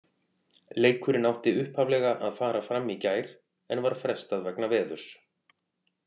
Leikurinn átti upphaflega að fara fram í gær en var frestað vegna veðurs.